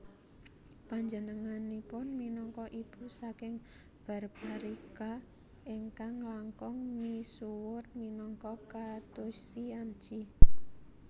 Panjenenganipun minangka ibu saking Barbarika ingkang langkung misuwur minangka Khatushyamji